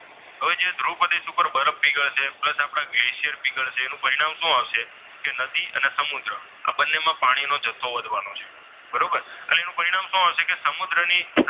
હવે જે ધ્રુવ પ્રદેશ ઉપર બરફ પીગળશે પ્લસ આપણા ગ્લેશિયર પીગળશે. એનું પરિણામ શું આવશે કે નદી અને સમુદ્ર આ બંનેમાં પાણીનો જથ્થો વધવાનો છે. બરોબર? અને એનું પરિણામ શું આવશે કે સમુદ્રની